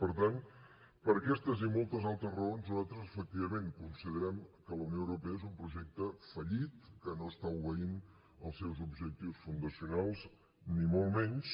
per tant per aquestes i moltes altres raons nosaltres efectivament considerem que la unió europea és un projecte fallit que no està obeint els seus objectius fundacionals ni molt menys